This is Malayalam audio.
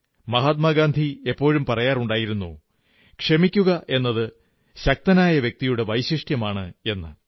മഹാത്മാഗാന്ധി എപ്പോഴും പറയാറുണ്ടായിരുന്നു ക്ഷമിക്കുകയെന്നത് ശക്തനായ വ്യക്തിയുടെ വൈശിഷ്ട്യമാണ്എന്ന്